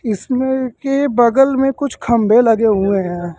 इसमें के बगल में कुछ खंबे लगे हुए हैं।